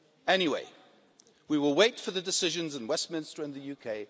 Anyway, we will wait for the decisions in Westminster and the UK.